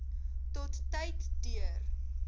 tot tyd deur